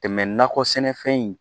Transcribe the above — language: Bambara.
Tɛmɛ nakɔ sɛnɛfɛn in